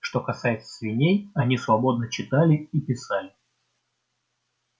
что касается свиней они свободно читали и писали